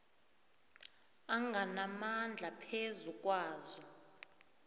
anganamandla phezu kwazo